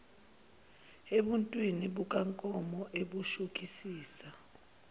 ebuntwini bukankomo ebushukisisa